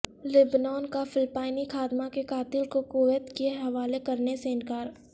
لبنان کا فلپائنی خادمہ کے قاتل کو کویت کے حوالے کرنے سے انکار